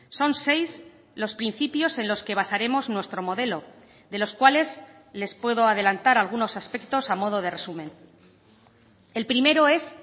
son seis los principios en los que basaremos nuestro modelo de los cuales les puedo adelantar algunos aspectos a modo de resumen el primero es